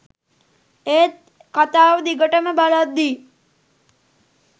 ඒත් කතාව දිගටම බලද්දි